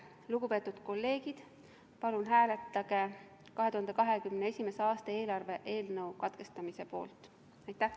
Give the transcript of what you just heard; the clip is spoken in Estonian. Lugupeetud kolleegid, palun hääletage 2021. aasta eelarve eelnõu menetluse katkestamise poolt!